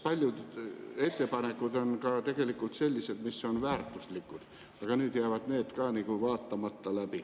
Paljud ettepanekud on tegelikult väärtuslikud, aga nüüd jäävad need läbi vaatamata.